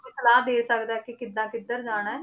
ਕੋਈ ਸਲਾਹ ਦੇ ਸਕਦਾ ਹੈ ਕਿ ਕਿੱਦਾਂ ਕਿੱਧਰ ਜਾਣਾ ਹੈ